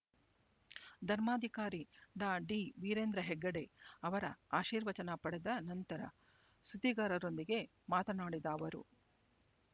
ಧರ್ಮಾಧಿಕಾರಿ ಡಾ ಡಿ ವೀರೇಂದ್ರ ಹೆಗಡೆ ಅವರ ಆಶೀರ್ವಚನ ಪಡೆದ ನಂತರ ಸುದ್ದಿಗಾರರೊಂದಿಗೆ ಮಾತನಾಡಿದ ಅವರು